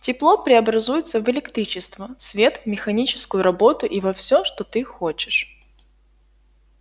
тепло преобразуется в электричество свет механическую работу и во всё что ты хочешь